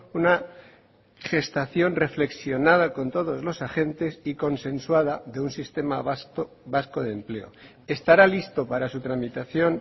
una gestación reflexionada con todos los agentes y consensuada de un sistema vasco de empleo estará listo para su tramitación